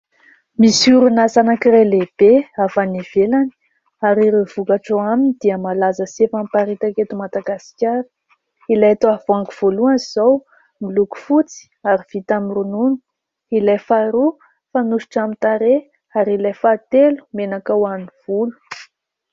misorona zanak'iray lehibe avy any evelany ary ireo vokatra ho aminy dia malaza sefa' mparitaketo madagaskara ilay tao avoango voalohana izao miloko fotsy ary vita mironona ilay fahroa fa nosotra aminy-tare ary ilay fa telo menaka ho an'ny volo